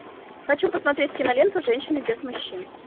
хочу посмотреть киноленту женщины без мужчин